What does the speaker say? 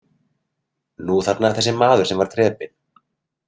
Nú þarna þessi maður sem var drepinn.